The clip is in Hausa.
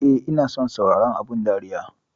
Eh ina son sauraron abun dariya.